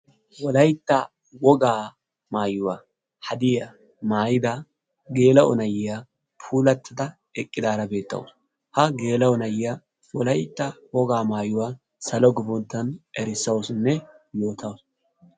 Wolaytta wogaa maayuwa haddiya maayida geela'o na'iya puulattada eqidaara beetawusu. Ha geela'o na'iya wolaytta wogaa maayuwa salo gufanton errissawussunne yootawusu